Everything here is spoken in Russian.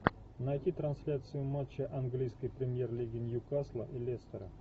найти трансляцию матча английской премьер лиги ньюкасла и лестера